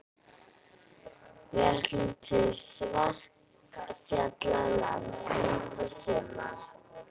Við ætlum til Svartfjallalands næsta sumar.